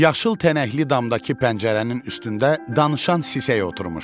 Yaşıl tənəkli damdakı pəncərənin üstündə danışan sisək oturmuşdu.